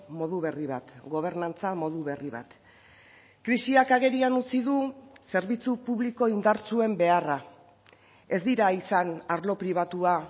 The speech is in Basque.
modu berri bat gobernantza modu berri bat krisiak agerian utzi du zerbitzu publiko indartsuen beharra ez dira izan arlo pribatua